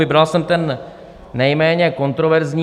Vybral jsem ten nejméně kontroverzní.